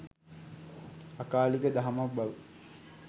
අකාලික දහමක් බව